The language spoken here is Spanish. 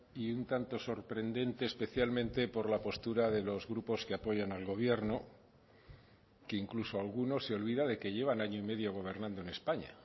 y un tanto sorprendente especialmente por la postura de los grupos que apoyan al gobierno que incluso algunos se olvida de que llevan año y medio gobernando en españa